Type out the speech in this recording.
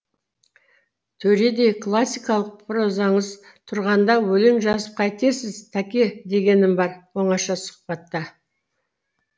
төредей классикалық прозаңыз тұрғанда өлең жазып қайтесіз тәке дегенім бар оңаша сұхбатта